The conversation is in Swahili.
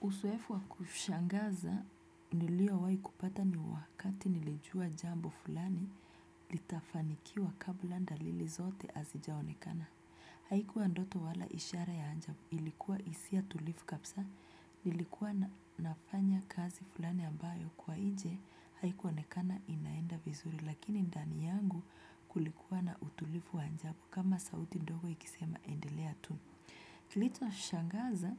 Usoefu wa kushangaza niliowai kupata ni wakati nilijua jambo fulani litafanikiwa kabla ndalili zote azijaonekana. Haikuwa ndoto wala ishara ya anjabu ilikuwa isia tulifu kapsa nilikuwa nafanya kazi fulani ambayo kwa inje haikuonekana inaenda vizuri lakini ndani yangu kulikuwa na utulifu anjabu kama sauti ndogo ikisema endelea tu. Kilicho shangaza